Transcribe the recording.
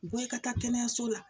Bɔ i ka taa kɛnɛyaso la